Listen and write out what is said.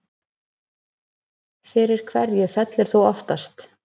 Fyrir hverju fellur þú oftast